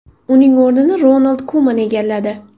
Uning o‘rnini Ronald Kuman egalladi .